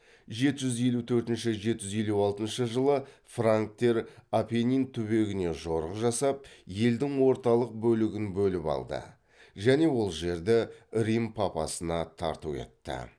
жеті жүз елу төртінші жеті жүз елу алтыншы жылы франктер апеннин түбегіне жорық жасап елдің орталық бөлігін бөліп алды және ол жерді рим папасына тарту етті